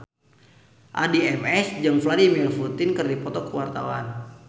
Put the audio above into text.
Addie MS jeung Vladimir Putin keur dipoto ku wartawan